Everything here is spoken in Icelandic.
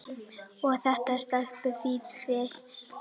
Og þetta stelpufífl á